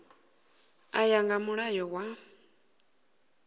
u ya nga mulayo wa